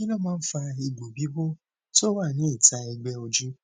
kí ló máa ń fa egbo bibo tó wa ní ita egbe ojú